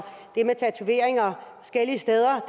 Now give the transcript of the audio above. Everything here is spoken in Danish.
at tatoveringer forskellige steder